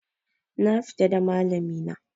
Na fita da malami na